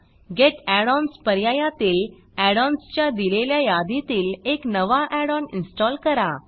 gate add ons पर्यायातील add ons च्या दिलेल्या यादीतील एक नवा add ओन इन्स्टॉल करा